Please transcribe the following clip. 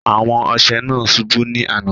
Awo ọṣẹ naa ṣúbú ni àná.